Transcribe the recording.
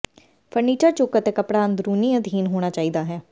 furniture ਚੁੱਕ ਅਤੇ ਕੱਪੜਾ ਅੰਦਰੂਨੀ ਅਧੀਨ ਹੋਣਾ ਚਾਹੀਦਾ ਹੈ